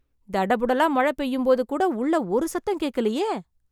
தடபுடலா மழை பெய்யும்போதுகூட உள்ள ஒரு சத்தம் கேட்கலையே...